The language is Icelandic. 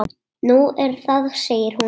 Nú, er það segir hún.